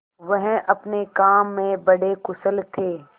वह अपने काम में बड़े कुशल थे